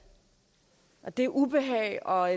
og det ubehag og